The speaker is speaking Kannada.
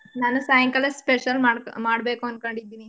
ನಾನು ಸಾಯಂಕಾಲ special ಮಾಡ್ ಮಾಡ್ಬೇಕು ಅನ್ಕೊಂಡಿದ್ದೀನಿ.